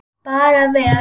Bara vel.